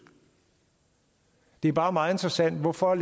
det er bare meget interessant hvorfor